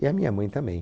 E a minha mãe também.